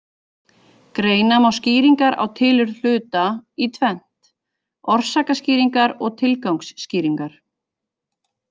Greina má skýringar á tilurð hluta í tvennt: orsakaskýringar og tilgangsskýringar.